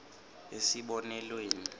esibonelweni